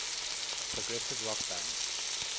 progressive rock band